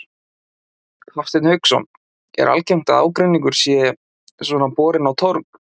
Hafsteinn Hauksson: Er algengt að ágreiningur sé svona borinn á torg?